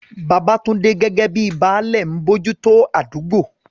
Babatunde, gẹ́gẹ́ bíi "Baale," ń bójú tó àdúgbò.